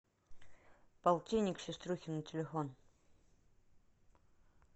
полтинник сеструхе на телефон